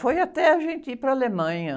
Foi até a gente ir para a Alemanha.